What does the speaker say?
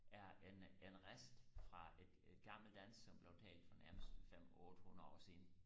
er en en rest fra et et gammelt dansk som blev talt for nærmest fem ottehundrede år siden